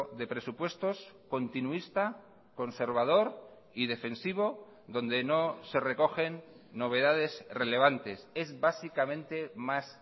de presupuestos continuista conservador y defensivo donde no se recogen novedades relevantes es básicamente más